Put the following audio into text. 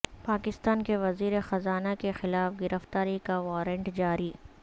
پاکستان کے وزیرخزانہ کے خلاف گرفتاری کا وارنٹ جاری